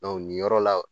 nin yɔrɔ la